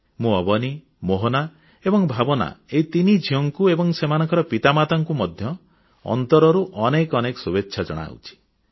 ମୁଁ ଅବନୀ ମୋହନା ଏବଂ ଭାବନା ଏହି ତିନି ଝିଅଙ୍କୁ ଏବଂ ସେମାନଙ୍କ ପିତାମାତାଙ୍କୁ ମଧ୍ୟ ଅନ୍ତରରୁ ଅନେକ ଅନେକ ଶୁଭେଚ୍ଛା ଜଣାଉଛି